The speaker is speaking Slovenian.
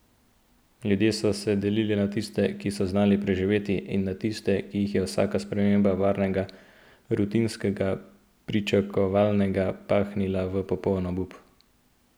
Ljudje so se delili na tiste, ki so znali preživeti, in na tiste, ki jih je vsaka sprememba varnega, rutinskega, pričakovanega pahnila v popoln obup.